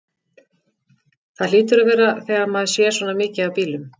Það hlýtur að vera þegar maður sér svona mikið af bílum.